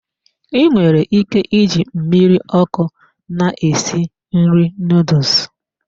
I nwere ike iji mmiri ọkụ na-esi nri noodles.